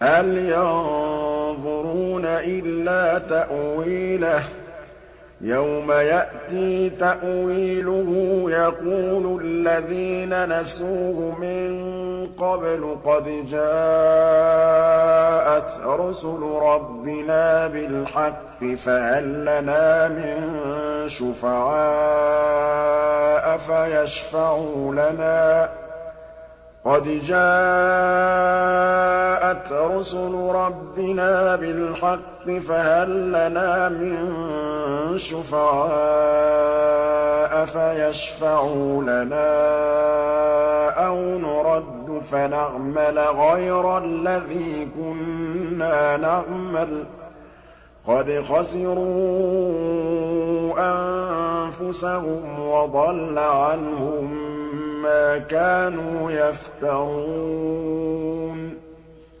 هَلْ يَنظُرُونَ إِلَّا تَأْوِيلَهُ ۚ يَوْمَ يَأْتِي تَأْوِيلُهُ يَقُولُ الَّذِينَ نَسُوهُ مِن قَبْلُ قَدْ جَاءَتْ رُسُلُ رَبِّنَا بِالْحَقِّ فَهَل لَّنَا مِن شُفَعَاءَ فَيَشْفَعُوا لَنَا أَوْ نُرَدُّ فَنَعْمَلَ غَيْرَ الَّذِي كُنَّا نَعْمَلُ ۚ قَدْ خَسِرُوا أَنفُسَهُمْ وَضَلَّ عَنْهُم مَّا كَانُوا يَفْتَرُونَ